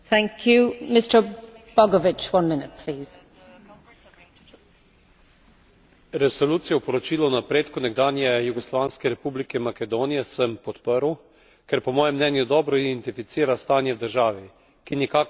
Resolucijo o poročilu o napredku nekdanje jugoslovanske republike Makedonije sem podprl, ker po mojem mnenju dobro identificira stanje v državi, ki nikakor ni rožnato, in hkrati na ustrezen način spodbuja državo na pot hitrejših pristopnih pogajanj.